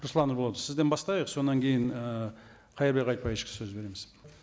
руслан ерболатович сізден бастайық содан кейін ііі қайырбек айтбаевичқа сөз береміз